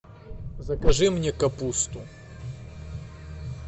закажи мне капусту